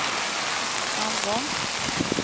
framgång